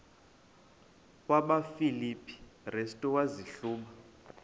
kwabasefilipi restu wazihluba